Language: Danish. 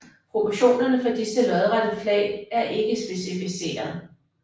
Proportionerne for disse lodrette flag er ikke specificeret